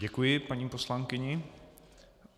Děkuji paní poslankyni.